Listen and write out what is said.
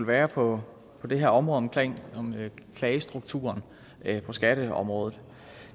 være på det her område omkring klagestrukturen på skatteområdet